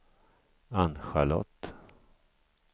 Ann-Charlotte